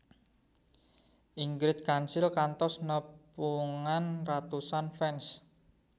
Ingrid Kansil kantos nepungan ratusan fans